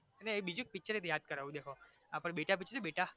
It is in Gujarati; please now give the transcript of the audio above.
ના બીજુ એક picture યાદ કરાવુ દેખો આપડે બેટા picture જોયુ બેટા